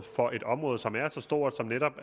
for et område som er så stort netop